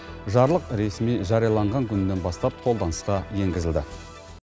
жарлық ресми жарияланған күнінен бастап қолданысқа енгізілді